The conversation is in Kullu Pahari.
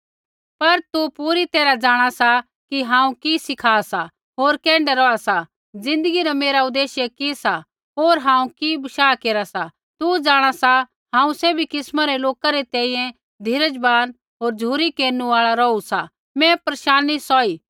पर तू पूरी तैरहा जाँणा सा कि हांऊँ कि सिखा सा होर कैण्ढै रौहा सा ज़िन्दगी न मेरा उदेश्य कि सा होर हांऊँ कि बशाह केरा सा तू जाँणा सा हांऊँ सैभी किस्मा रै लोका री तैंईंयैं धीरजवान होर झ़ुरी केरनु आल़ा रौहू सा मैं परेशानी सौही